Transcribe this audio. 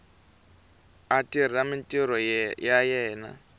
a tirha mintirho ya yena